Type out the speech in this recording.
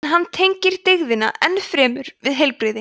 en hann tengir dygðina enn fremur við heilbrigði